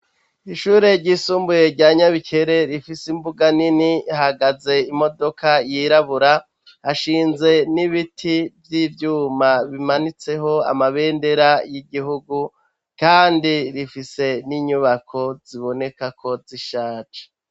Ishure ryisumbuye rya nyabikere rifise imbuga nini hagaze imodoka yirabura hashinze n'ibiti vy'ivyuma bimanitseho amabendera y'igihugu, kandi rifise n'inyubako ziboneka ko zishace.